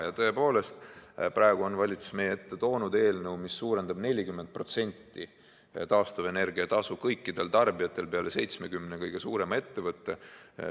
Ja tõepoolest, praegu on valitsus meie ette toonud eelnõu, mis suurendab 40% taastuvenergia tasu kõikidel tarbijatel peale 70 kõige suurema ettevõtte.